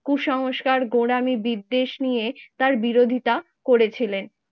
কুসংস্কার গোড়ামি বিদ্বেষ নিয়ে তার বিরোধিতা করেছিলেন।